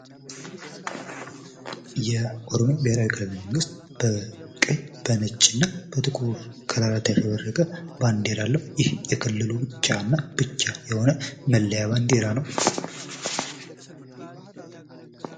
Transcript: ባንዲራ የአንድ ሀገርን ማንነትና እሴቶች የሚያንፀባርቅ ምልክት ሲሆን፣ መለያ ደግሞ አንድን ቡድን ወይም ድርጅት ለይቶ ለማወቅ ይጠቅማል።